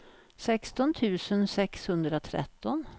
sexton tusen sexhundratretton